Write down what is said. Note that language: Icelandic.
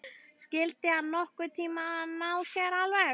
Skyldi hann nokkurn tíma ná sér alveg?